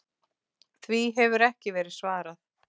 Því hefur ekki verið svarað.